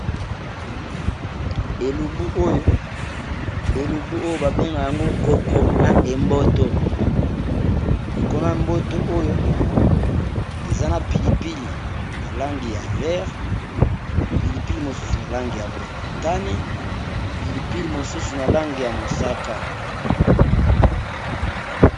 Elubu oyo babenga yango koko na emboto kokona mboto oyo eza na pilipili ya langi ya vert pilipili mosusu na lange ya motane pilipili mosusu na lange ya mosaka.